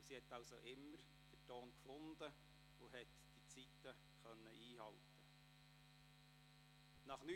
Dabei fand Frau Hofer immer den Ton und konnte die Zeiten einhalten.